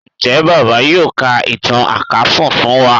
njé bàbá yóò ká ìtàn àkàsùn fún wá?